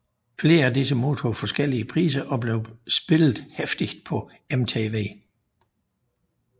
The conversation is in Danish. Flere af disse modtog forskellige priser og blev spillet heftigt på MTV